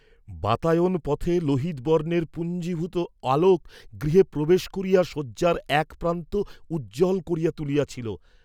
বাতায়ন পথে লোহিত বর্ণের পুঞ্জীভূত আলোক গৃহে প্রবেশ করিয়া শয্যার একপ্রান্ত উজ্জ্বল করিয়া তুলিয়াছিল।